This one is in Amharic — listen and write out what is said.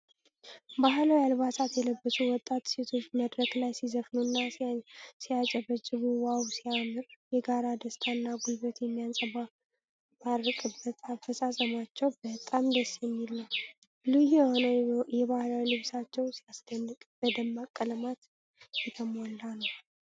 ባህላዊ አልባሳት የለበሱ ወጣት ሴቶች መድረክ ላይ ሲዘፍኑና ሲያጨበጭቡ ዋው ሲያምር!። የጋራ ደስታ እና ጉልበት የሚንጸባረቅበት አፈፃፀማቸው በጣም ደስ የሚል ነው። ልዩ የሆነው የባህል ልብሳቸው ሲያስደንቅ፣ በደማቅ ቀለማት የተሞላ ነው።